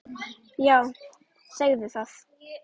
Já, segðu það!